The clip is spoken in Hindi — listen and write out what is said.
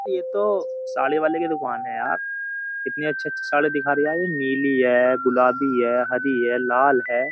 ये तो साड़ी वाले की दुकान है यार कितनी अच्छी-अच्छी साड़ी दिखा रिहा है यार नीली है गुलाबी है हरी है लाल है।